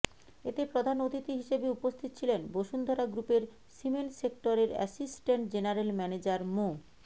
এতে প্রধান অতিথি হিসেবে উপস্থিত ছিলেন বসুন্ধরা গ্রুপের সিমেন্ট সেক্টরের অ্যাসিসট্যান্ট জেনারেল ম্যানেজার মো